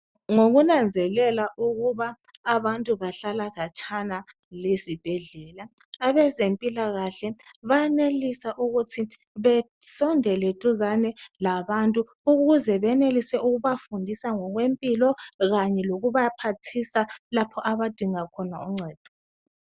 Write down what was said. Ngokunanzelela ukuba abantu bahlala khatshana lezibhedlela, abezempilakahle bayenelisa ukuthi besondela duzane labantu ukuze benelise ukubafundisa ngokwempilo kanye nokubaphathisa lapho abadinga khona uncedo.